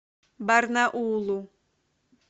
барнаулу